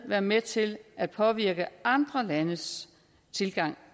være med til at påvirke andre landes tilgang